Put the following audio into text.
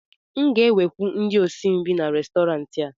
m ga-ewekwu ndị osi nri n'Restọrantị a